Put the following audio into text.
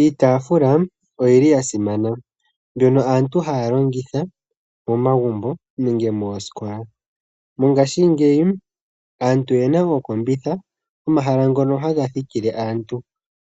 Iitaafula oyili ya simana mbyono aantu haya longitha momagumbo nenge moosikola. Mongaashingeyi aantu oyena ooseti omahala ngono haga thikile aantu